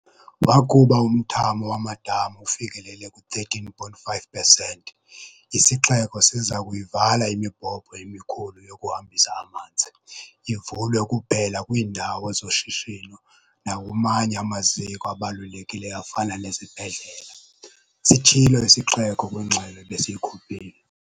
"Wakuba umthamo wamadama ufikelele ku-13.5 pesenti, isixeko siza kuyivala imibhobho emikhulu yokuhambisa amanzi, ivulwe kuphela kwiindawo zoshishino nakumanye amaziko abalulekileyo afana nezibhedlela," sitshilo isixeko kwingxelo ebesiyikhuphile.